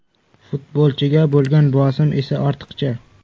Futbolchiga bo‘lgan bosim esa ortiqcha.